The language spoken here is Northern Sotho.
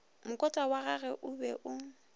mokotla wagagwe o be o